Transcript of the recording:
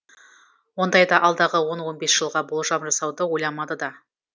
ондайда алдағы он он бес жылға болжам жасауды ойламады да